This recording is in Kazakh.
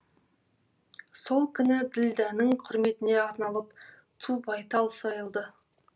сол күні ділдәнің құрметіне арналып ту байтал сойылды